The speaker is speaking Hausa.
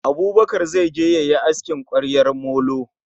Abubakar zai je yayi aski kwaryar molo